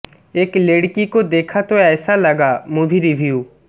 এক Ladki Ko Dekha Toh Aisa Laga movie review